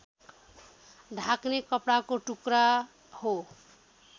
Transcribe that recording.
ढाक्ने कपडाको टुक्रा हो